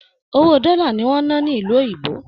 Owó dọlà ni wọn n nà nílu òyìnbó.